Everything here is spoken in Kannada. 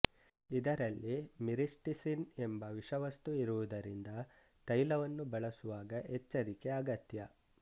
ಇದರಲ್ಲಿ ಮಿರಿಸ್ಟಿಸಿನ್ ಎಂಬ ವಿಷವಸ್ತು ಇರುವುದರಿಂದ ತೈಲವನ್ನು ಬಳಸುವಾಗ ಎಚ್ಚರಿಕೆ ಅಗತ್ಯ